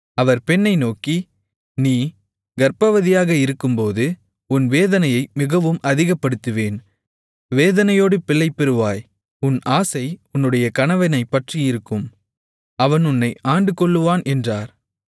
அவர் பெண்ணை நோக்கி நீ கர்ப்பவதியாக இருக்கும்போது உன் வேதனையை மிகவும் அதிகப்படுத்துவேன் வேதனையோடு பிள்ளை பெறுவாய் உன் ஆசை உன்னுடைய கணவனைப் பற்றியிருக்கும் அவன் உன்னை ஆண்டுகொள்ளுவான் என்றார்